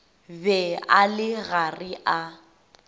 be a le gare a